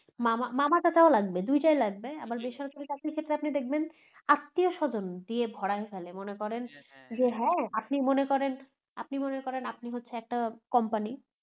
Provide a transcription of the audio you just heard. মামা, মামা চাচাও লাগবে দুইটাই লাগবে আবার বেসরকারি চাকরির ক্ষেত্রে আপনি দেখবেন আত্মীয় স্বজন দিয়ে ভরায় ফেলে মনে করেন যে আপনি মনে করেন আপনি মনে করেন আপনি হচ্ছেন একটা company